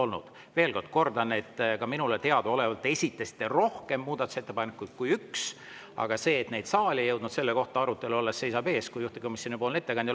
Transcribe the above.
Kordan veel, et ka minule teadaolevalt te esitasite rohkem muudatusettepanekuid kui üks, aga see arutelu, et neid saali ei ole jõudnud, seisab ees, kui tuleb juhtivkomisjonipoolne ettekandja.